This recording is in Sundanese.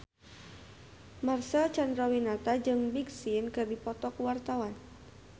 Marcel Chandrawinata jeung Big Sean keur dipoto ku wartawan